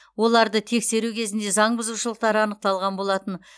оларды тексеру кезінде заң бұзушылықтар анықталған болатын